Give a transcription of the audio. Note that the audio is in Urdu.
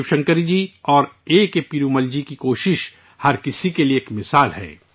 شیو شنکری جی اور اے کے پیرومل جی کی کوشش ہر کسی کے لیے ایک مثال ہیں